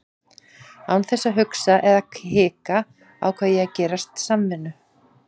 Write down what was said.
Án þess að hugsa eða hika ákveð ég að gerast samvinnu